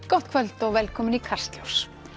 gott kvöld og velkomin í Kastljós